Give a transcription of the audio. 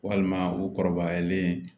Walima u kɔrɔbayalen